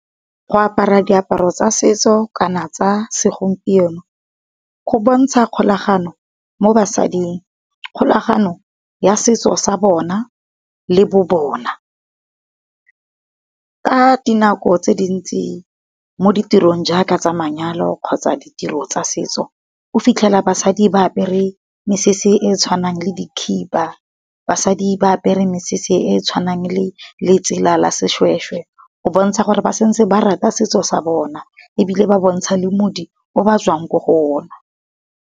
Go apara diaparo tsa setso kana tsa segompieno, go bontsha kgolagano mo basading, kgolagano ya setso sa bona le bo bona. Ka di nako tse dintsi mo ditirong jaaka tsa manyalo kgotsa ditiro tsa setso, o fitlhela basadi ba apere mesese e tshwanang le dikhiba, basadi ba apere mesese e tshwanang le letsela la seshweshwe. Go bontsha gore ba santse ba rata setso sa bona ebile ba bontsha le moudi o ba tswang ko go ona.